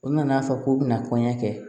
U nana fɔ k'u bɛna kɔɲɔkɛ kɛ